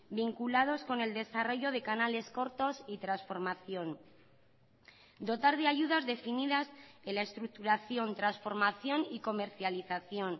vinculados con el desarrollo de canales cortos y transformación dotar de ayudas definidas en la estructuración transformación y comercialización